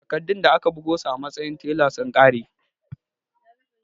Takardun da aka bugo su a matsayin tela sun ƙare